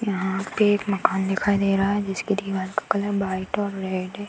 यहाँ पे एक मकान दिखाई दे रहा है जिसकी दीवाल का कलर व्हाइट और रेड है।